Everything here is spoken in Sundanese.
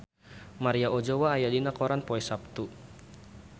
Maria Ozawa aya dina koran poe Saptu